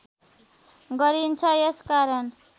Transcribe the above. गरिन्छ यस कारण